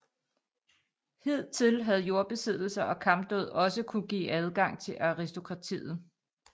Hidtil havde jordbesiddelser og kampdåd også kunnet give adgang til aristokratiet